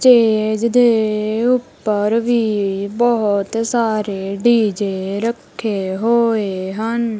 Stage ਦੇ ਉੱਪਰ ਵੀ ਬਹੁਤ ਸਾਰੇ ਡੀ_ਜੇ ਰੱਖੇ ਹੋਏ ਹਨ।